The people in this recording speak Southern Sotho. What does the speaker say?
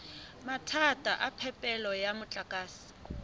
mathata a phepelo ya motlakase